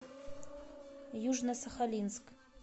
южно сахалинск